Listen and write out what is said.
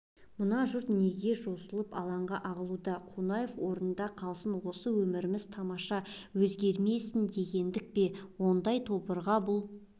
мына жұрт неге жосылып алаңға ағылуда қонаев орнында қалсын осы өміріміз тамаша өзгермесін дегендік пе ондай тобырға бұл